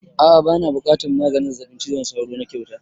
A'a bana buƙatan maganin zazzabin cizon sauro na kyauta